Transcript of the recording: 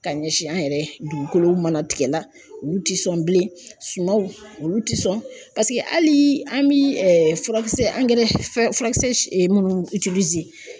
Ka ɲɛsin an yɛrɛ dugukolow mana tigɛla, olu tɛ sɔn bilen, sumaw olu tɛ sɔn paseke hali an bɛ furakisɛ angɛrɛ furakisɛ si munnu